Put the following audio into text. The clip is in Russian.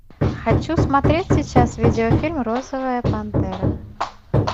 хочу смотреть сейчас видеофильм розовая пантера